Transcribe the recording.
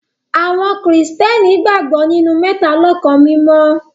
Awọn kristiani gbagbọ ninu Mẹtalọkan Mimọ.